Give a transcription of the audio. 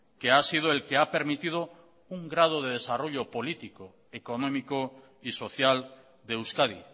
que ha sido el que ha permitido un grado de desarrollo político económico y social de euskadi